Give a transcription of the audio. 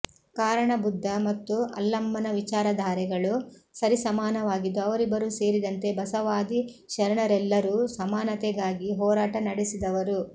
ಕಾರಣ ಬುದ್ದ ಮತ್ತು ಅಲ್ಲಮ್ಮನ ವಿಚಾರಧಾರೆಗಳು ಸರಿಸಮಾನವಾಗಿದ್ದು ಅವರಿಬ್ಬರೂ ಸೇರಿದಂತೆ ಬಸವಾದಿ ಶರಣರೆಲ್ಲರೂ ಸಮಾನತೆಗಾಗಿ ಹೋರಾಟ ನಡೆಸಿದವರು